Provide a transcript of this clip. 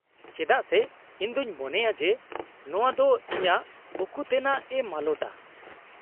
-ᱪᱮᱫᱟᱜ ᱥᱮ ᱤᱧ ᱫᱚᱹᱧ ᱢᱚᱱᱮᱭᱟ ᱡᱮ ᱱᱚᱣᱟ ᱫᱚ ᱤᱧᱟᱹᱜ ᱩᱠᱩᱛᱮᱱᱟᱜᱼᱮ ᱢᱟᱞᱚᱴᱟ ᱾